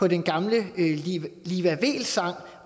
i den gamle liva weel sang